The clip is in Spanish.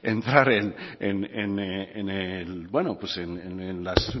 entrar en las